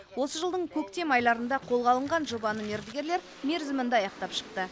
осы жылдың көктем айларында қолға алынған жобаны мердігерлер мерзімінде аяқтап шықты